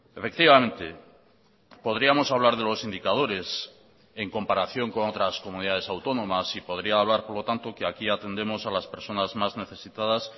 efectivamente podríamos hablar de los indicadores en comparación con otras comunidades autónomas y podría hablar por lo tanto que aquí atendemos a las personas más necesitadas